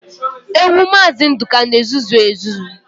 Ewu maazi Nduka n'ezuzu ezuzu